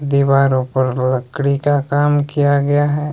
दीवारों पर लकड़ी का काम किया गया है।